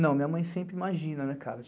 Não, minha mãe sempre imagina, né, cara?